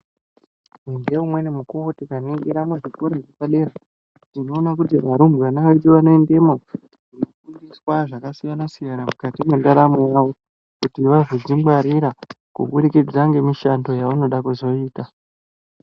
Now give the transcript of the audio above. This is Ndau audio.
Ngeumweni mukuwo tikaningira muzvikora zvepadera tinoona kuti varumbwana vedu vanoendemwo koofundiswa zvakasiyana-siyana, mukati mwendaramo yavo kuti vazodzingwarira kuburikidza ngemishando yavanoda kuzoita.